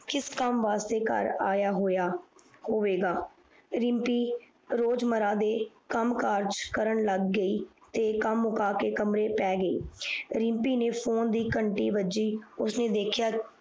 ਕਿਸ ਕਾਮ ਵਾਸਤੇ ਕਾਰ ਆਯਾ ਹੋਇਆ ਹੋਵੇਗਾ ਰਿਮਪੀ ਰੋਜ ਮਰਰਾ ਦੇ ਕਾਮ ਕਾਜ ਕਰਨ ਲੱਗ ਗਯੀ ਰਮਪੀ ਨੇ ਫੋਨ ਦੀ ਕੰਤਿ ਬਾਜੀ ਉਨੇ ਦੇਖਿਆ